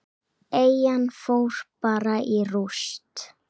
Eyjan fór bara í rúst.